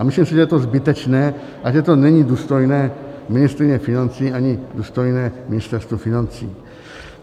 A myslím si, že je to zbytečné a že to není důstojné ministryně financí ani důstojné Ministerstva financí.